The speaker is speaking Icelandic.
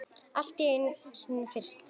Allt er einu sinni fyrst.